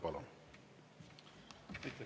Palun!